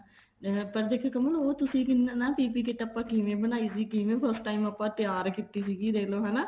ਪਰ ਕਮਲ ਉਹ ਤੁਸੀਂ ਕਿੰਨਾ PPE kit ਆਪਾਂ ਕਿਵੇਂ ਬਣਾਈ ਸੀ ਕਿਵੇਂ first time ਆਪਾਂ ਤਿਆਰ ਕੀਤੀ ਸੀ ਦੇਖਲੋ ਹਨਾ